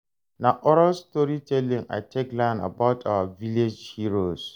Na oral storytelling I take learn about our village heroes.